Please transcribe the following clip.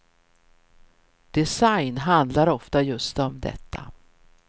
Design handlar ofta just om detta.